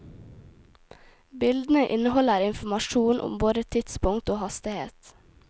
Bildene inneholder informasjon om både tidspunkt og hastighet.